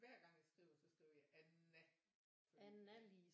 Hver gang jeg skriver så skriver jeg Anna fordi